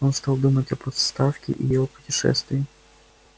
он стал думать об отставке и о путешествии